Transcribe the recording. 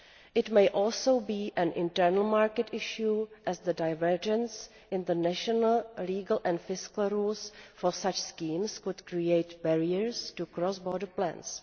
It may also be an internal market issue as the divergence in national, legal and fiscal rules for such schemes could create barriers to cross border plans.